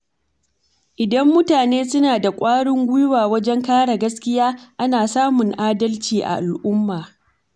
Idan mutane suna da ƙwarin gwiwa wajen kare gaskiya, ana samun adalci a al’umma.